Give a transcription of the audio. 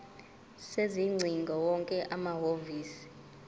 sezingcingo wonke amahhovisi